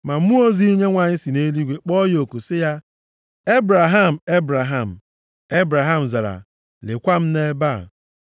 Ma mmụọ ozi Onyenwe anyị si nʼeluigwe kpọọ ya oku sị ya, “Ebraham! Ebraham!” Ebraham zara, “Lekwa m nʼebe a.”